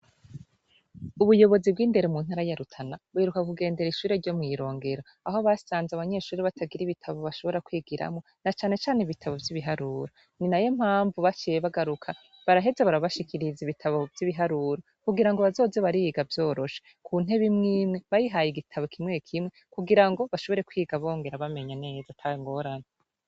Ubuyobozi bw'indero mu ntara ya Rutana, buheruka kugendera ishure ryo mw'Irongero aho basanze abanyeshure baragira ibitabu bashobora kwigiramwo, na cane cane ibitabo vy'ibiharuro. Ninayo mpamvu baciye bagaruka baraheza barabashikiriza ibitabo by'ibiharuro kugira ngo bazoze bariga vyoroshe. Ubu intebe imw'imwe bayihaye igitabo kimwe kugira ngo bashobore kwiga bongera bamenya neza atangorane.